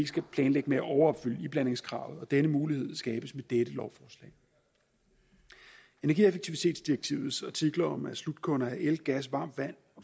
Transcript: skal planlægge med at overopfylde iblandingskravet og denne mulighed skabes med dette lovforslag energieffektivitetsdirektivets artikler om at slutkunder til el gas varmt vand